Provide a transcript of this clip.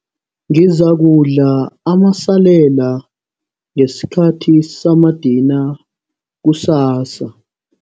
Ngizakudla amasalela ngesikhathi samadina kusasa.